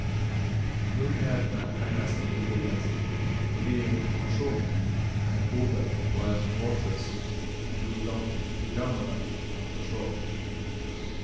Mulighetene er nesten ubegrenset, fordi informasjonen er kodet på en måte som programmene kan forstå.